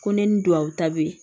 Ko ne ni duwawu ta bɛ ye